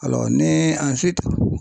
ni